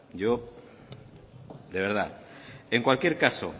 yo de verdad en cualquier caso